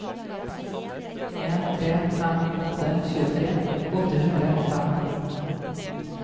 en tre fem åtte tjuetre åtte hundre og fem